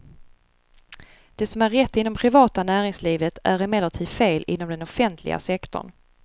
Det som är rätt inom privata näringslivet är emellertid fel inom den offentliga sektorn.